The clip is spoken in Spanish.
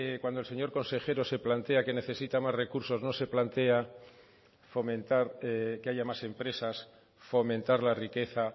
cuando el señor consejero se plantea que necesita más recursos no se plantea fomentar que haya más empresas fomentar la riqueza